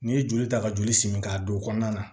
N'i ye joli ta ka joli simi k'a don o kɔnɔna na